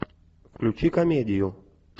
включи комедию